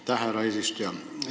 Aitäh, härra eesistuja!